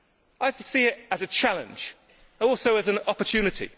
I see it as a challenge, and also as an opportunity.